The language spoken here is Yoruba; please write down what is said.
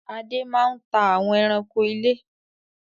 Adé máa ń ta àwọn ẹranko ilé